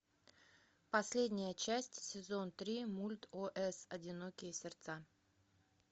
последняя часть сезон три мульт ос одинокие сердца